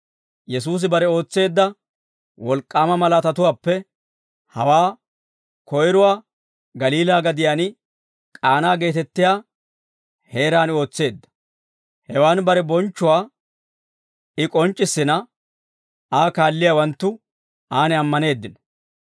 Yesuusi bare ootseedda wolk'k'aama malaatatuwaappe hawaa koyruwaa Galiilaa gadiyaan K'aanaa geetettiyaa heeraan ootseedda; hewan bare bonchchuwaa I k'onc'c'issina, Aa kaalliyaawanttu aan ammaneeddino.